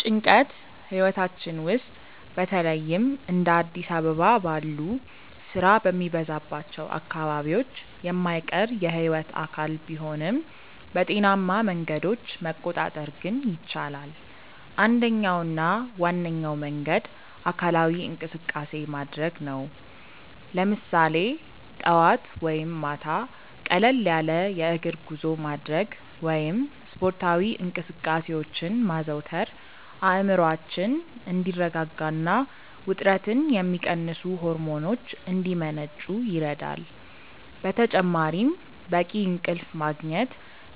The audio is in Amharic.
ጭንቀት ህይወታችን ውስጥ በተለይም እንደ አዲስ አበባ ባሉ ስራ በሚበዛባቸው አካባቢዎች የማይቀር የህይወት አካል ቢሆንም፣ በጤናማ መንገዶች መቆጣጠር ግን ይቻላል። አንደኛውና ዋነኛው መንገድ አካላዊ እንቅስቃሴ ማድረግ ነው፤ ለምሳሌ ጠዋት ወይም ማታ ቀለል ያለ የእግር ጉዞ ማድረግ ወይም ስፖርታዊ እንቅስቃሴዎችን ማዘውተር አእምሮአችን እንዲረጋጋና ውጥረትን የሚቀንሱ ሆርሞኖች እንዲመነጩ ይረዳል። በተጨማሪም በቂ እንቅልፍ ማግኘት